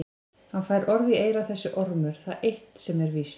Hann fær orð í eyra þessi ormur, það er eitt sem víst er.